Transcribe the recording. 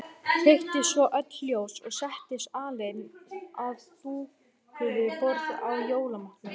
Kveikti svo öll ljós og settist alein að dúkuðu borði og jólamatnum.